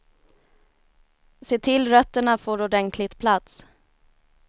Se till rötterna får ordentlig plats.